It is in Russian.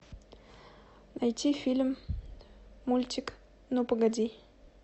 найти фильм мультик ну погоди